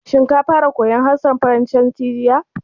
Shin ka fara koyan harshen Faransanci jiya?